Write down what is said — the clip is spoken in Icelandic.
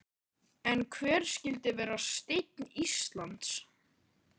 En hver skyldi vera steinn Íslands?